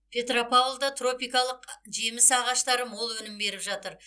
петропавлда тропикалық жеміс ағаштары мол өнім беріп жатыр